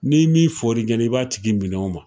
Ni ni fɔr'i ɲɛ'ɛ i b'a tigi minɛ o ma